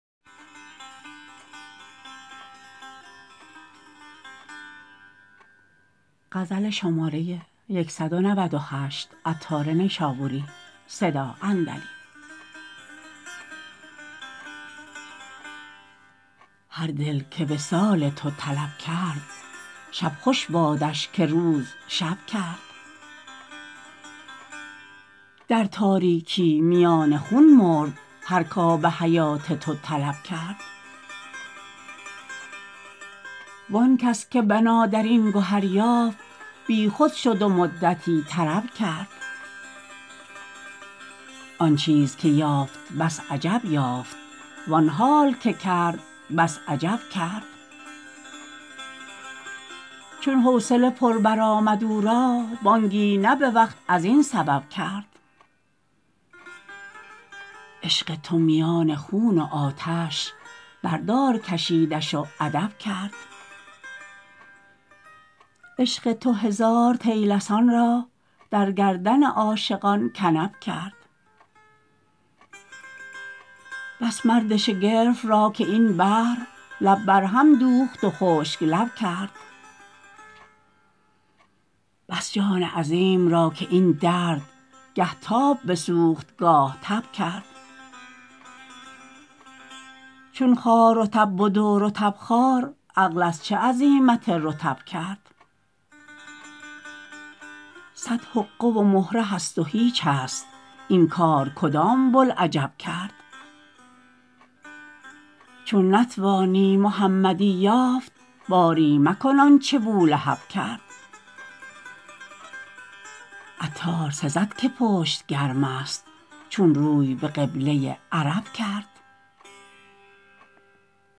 هر دل که وصال تو طلب کرد شب خوش بادش که روز شب کرد در تاریکی میان خون مرد هر که آب حیات تو طلب کرد وآنکس که بنا در این گهر یافت بی خود شد و مدتی طرب کرد آن چیز که یافت بس عجب یافت وآن حال که کرد بس عجب کرد چون حوصله پر برآمد او را بانگی نه به وقت ازین سبب کرد عشق تو میان خون و آتش بردار کشیدش و ادب کرد عشق تو هزار طیلسان را در گردن عاشقان کنب کرد بس مرد شگرف را که این بحر لب برهم دوخت و خشک لب کرد بس جان عظیم را که این درد گه تاب بسوخت گاه تب کرد چون خار رطب بد و رطب خار عقل از چه عزیمت رطب کرد صد حقه و مهره هست و هیچ است این کار کدام بلعجب کرد چون نتوانی محمدی یافت باری مکن آنچه بولهب کرد عطار سزد که پشت گرم است چون روی به قبله عرب کرد